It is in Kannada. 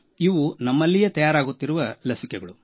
ಇವು ನಮ್ಮಲ್ಲಿಯೇ ತಯಾರಿಸುತ್ತಿರುವ ಲಸಿಕೆಗಳು